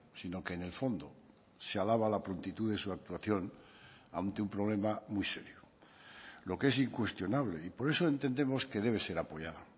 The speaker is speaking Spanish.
sino que en el fondo se alaba la prontitud de su actuación ante un problema muy serio lo que es incuestionable y por eso entendemos que debe ser apoyado